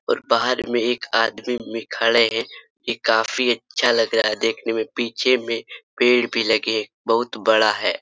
और बाहर में एक आदमी भी खड़े हैं ये काफी अच्छा लग रहा है देखने में पीछे में पेड़ भी लगे बहुत बड़ा है।